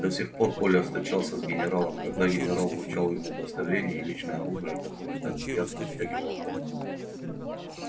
до сих пор коля встречался с генералом когда генерал вручал ему удостоверение и личное оружие которое так приятно оттягивало бок